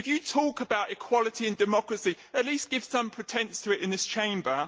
If you talk about equality and democracy, at least give some pretence of it in this Chamber.